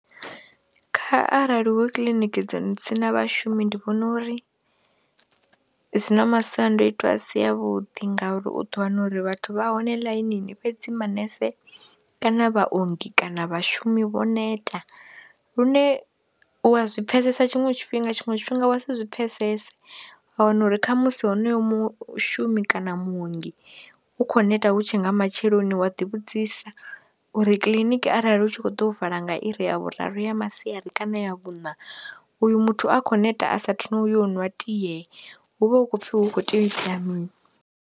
Kha arali hu kiḽiniki dza si na vhashumi ndi vhona uri dzi na masiandoitwa a si avhuḓi ngauri u ḓo wana uri vhathu vha hone ḽainini fhedzi manese kana vhaongi kana vhashumi vho neta lune u wa zwi pfhesesa tshiṅwe tshifhinga, tshiṅwe tshifhinga wa si zwi pfhesese, wa wana uri kha musi honoyo mushumi kana muongi u khou neta hu tshe nga matsheloni wa ḓivhudzisa uri kiḽiniki arali hu tshi khou ḓo vala nga iri ya vhuraru ya masiari kana ya vhuṋa uyu muthu a khou neta a saathu na u ya u ṅwa tie hu vha hu khou pfhi hu kho tea u itea mini.